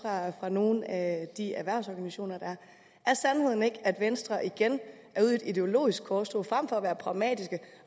fra nogle af erhvervsorganisationerne er sandheden ikke at venstre igen er ude i et ideologisk korstog frem for at være pragmatiske